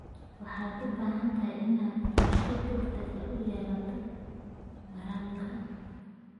Waxaad u baahan tahay inaad qorshe degdeg ah u yeelato waraabka.